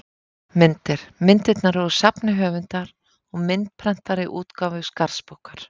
Myndir: Myndirnar eru úr safni höfundar, úr myndprentaðri útgáfu Skarðsbókar.